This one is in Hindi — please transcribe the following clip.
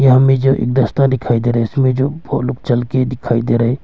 यहां में जो दस्ता दिखाई दे रहा इसमें जो बहुत लोग चल दिखाई दे रहा है।